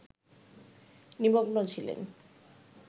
নিমগ্ন ছিলেন